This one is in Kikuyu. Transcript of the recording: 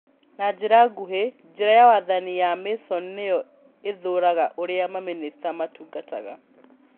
Na njĩra nguhĩ, njĩra ya wathani ya Mason nĩyo ĩthuuraga ũrĩa mamĩnĩsta matungatungataga.